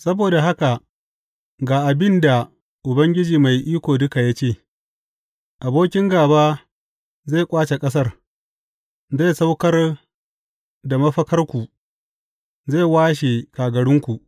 Saboda haka ga abin da Ubangiji Mai Iko Duka ya ce, Abokin gāba zai ƙwace ƙasar, zai saukar da mafakarku, zai washe kagarunku.